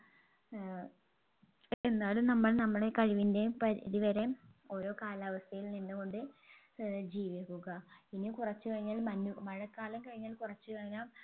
ഏർ എന്നാലും നമ്മൾ നമ്മളെ കഴിവിൻെറ പരിധി വരെ ഓരോ കാലാവസ്ഥയിൽ നിന്ന് കൊണ്ട് ഏർ ജീവിക്കുക ഇനി കുറച്ച് കഴിഞ്ഞാൽ മഞ്ഞ് മഴക്കാലം കഴിഞ്ഞാൽ കുറച്ച് കഴിഞ്ഞാ